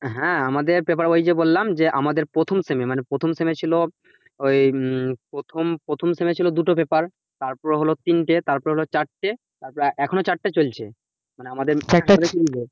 হ্যাঁ, আমাদের paper ঐ যে বললাম যে আমাদের প্রথম semi মানে প্রথম semi ছিল দুটো paper তারপরে হলো তিনটে, তারপরে হলো চারটে তারপরে এখনো চারটে চলছে মানে আমাদের